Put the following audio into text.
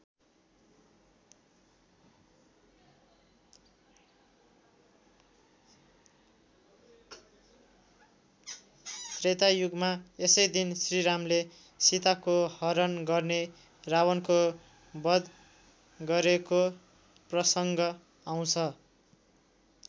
त्रेता युगमा यसै दिन श्रीरामले सीताको हरण गर्ने रावणको बध गरेको प्रसङ्ग आउँछ।